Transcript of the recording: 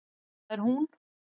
Það er hún!